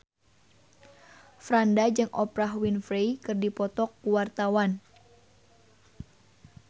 Franda jeung Oprah Winfrey keur dipoto ku wartawan